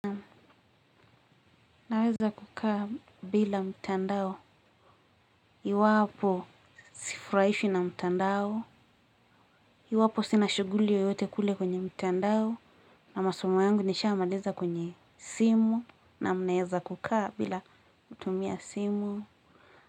Naweza kukaa bila mtandao, iwapo sifurahishwi na mtandao, iwapo sina shuguli yeyote kule kwenye mtandao, na masomo yangu nishamaliza kwenye simu, na ninaeza kukaa bila kutumia simu.